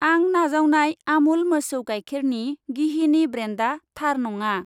आं नाजावनाय आमुल मोसौ गाइखेरनि गिहिनि ब्रेन्डा थार नङा।